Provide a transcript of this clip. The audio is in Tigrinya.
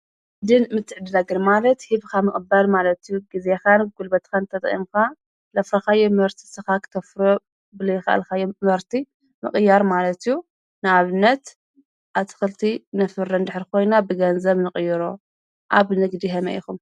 ንግድን ምትዕድዳግን ማለት ሂብኻ ምቕባል ማለት እዩ። ግዜኻን ጉልበትኻ ተጠቒምካ ለፍረኻዮ ምህርቲ ንስኻ ክተፍርዮ ብለይ ኻኣልካዮ ምህርቲ ምቕያር ማለት እዩ። ንኣብነት ኣትኽልቲ ነፍሪ እንተኾይና ብገንዘብ ንቕይሮ። ኣብ ንግዲ ከመይ ኢኹም?